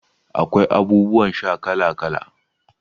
Akwai abubuwan sha kala kala.